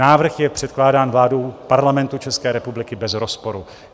Návrh je předkládán vládou Parlamentu České republiky bez rozporu.